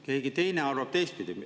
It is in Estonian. Keegi teine arvab teistpidi.